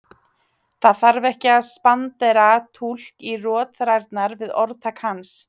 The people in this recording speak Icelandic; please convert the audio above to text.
Það þarf ekki að spandera túlk á rotþrærnar var orðtak hans.